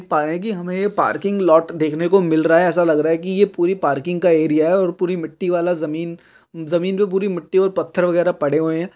की हमें ये पार्किंग लॉट देखने को मिल रहा है ऐसा लग रहा है की ये पूरी पार्किंग का एरिया है और पूरी मिट्टी वाला जमीन जमीन पर पूरी मिट्टी और पत्थर पड़े हुए हैं।